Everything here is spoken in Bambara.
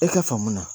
E ka faamu na